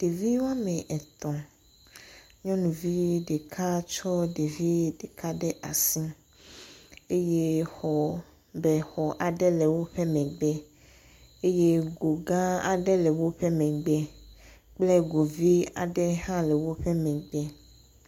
Ɖevi la ame etɔ̃. Nyɔnuvi ɖeka ɖevi ɖeka ɖe asi eye bexɔ aɖe le woƒe megbe eye go gã aɖe le woƒe megbe kple go vi aɖe hã le woƒe megbe.